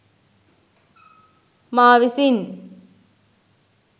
මා විසින්